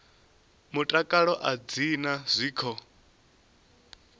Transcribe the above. mutakalo a dzi na zwiko